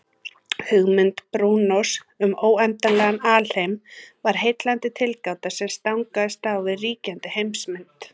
Hugmynd Brúnós um óendanlegan alheim var heillandi tilgáta sem stangaðist á við ríkjandi heimsmynd.